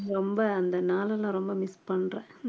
ரொம்ப அந்த நாளெல்லாம் நான் ரொம்ப miss பண்றேன்